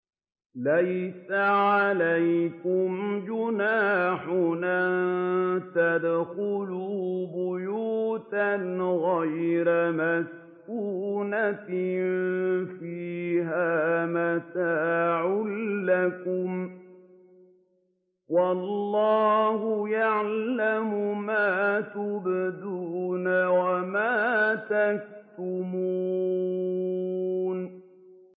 لَّيْسَ عَلَيْكُمْ جُنَاحٌ أَن تَدْخُلُوا بُيُوتًا غَيْرَ مَسْكُونَةٍ فِيهَا مَتَاعٌ لَّكُمْ ۚ وَاللَّهُ يَعْلَمُ مَا تُبْدُونَ وَمَا تَكْتُمُونَ